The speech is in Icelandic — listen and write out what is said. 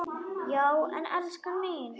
Já en elskan mín.